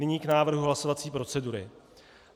Nyní k návrhu hlasovací procedury.